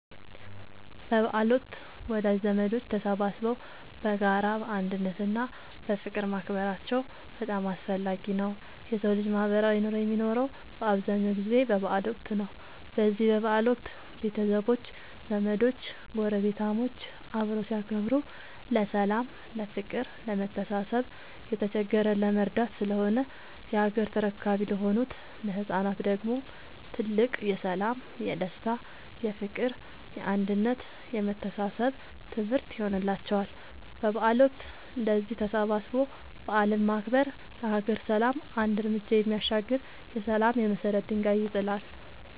በበዓል ወቅት ወዳጅ ዘመዶች ተሰባስበው በጋራ፣ በአንድነት እና በፍቅር ማክበራቸው በጣም አስፈላጊ ነው የሠው ልጅ ማህበራዊ ኑሮ የሚኖረው በአብዛኛው ጊዜ በበዓል ወቅት ነው። በዚህ በበዓል ወቅት ቤተሰቦች፣ ዘመዶች ጐረቤታሞች አብረው ሲያከብሩ ለሠላም፤ ለፍቅር፣ ለመተሳሰብ፣ የተቸገረን ለመርዳት ስለሆነ የሀገር ተረካቢ ለሆኑት ለህፃናት ደግሞ ትልቅ የሠላም፣ የደስታ፣ የፍቅር፣ የአንድነት የመተሳሰብ ትምህርት ይሆንላቸዋል። በበዓል ወቅት እንደዚህ ተሰባስቦ በዓልን ማክበር ለሀገር ሰላም አንድ ርምጃ የሚያሻግር የሠላም የመሰረት ድንጋይ ይጥላል።